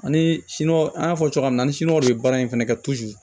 Ani siniwaw an y'a fɔ cogoya min na ni siniwaw de bɛ baara in fana kɛ